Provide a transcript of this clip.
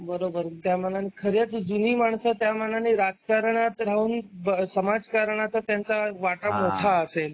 बरोबर त्यामानाने खरीच जुनी माणसं त्या मानाने राजकारणात राहून समाजकारणाच त्यांचा वाटा मोठा असेल.